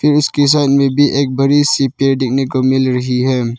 इन इसके सामने भी एक बड़ी सी पेड़ देखने को मिल रही है।